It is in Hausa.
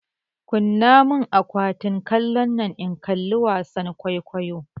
Kunna mun akwatin kallonnan in kalli wasan kwaikwayo!